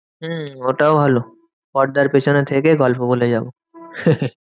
হম ওটাও ভালো পর্দার পেছনে থেকে গল্প বলে যাবো।